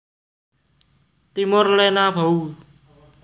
Timor lenabou